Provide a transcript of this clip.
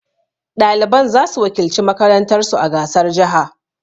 Ɗaliban za su wakilci makarantar su a gasar jaha